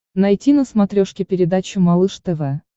найти на смотрешке передачу малыш тв